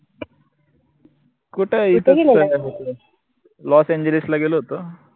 कुठे Los Angeles ला गेला होतो